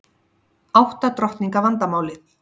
Átta drottninga vandamálið